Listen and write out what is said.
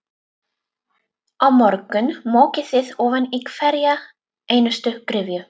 Á morgun mokið þið ofan í hverja einustu gryfju.